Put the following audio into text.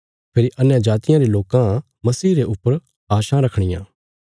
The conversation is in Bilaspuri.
फेरी अन्यजातियां रे लोकां मसीह रे ऊपर आशां रखणियां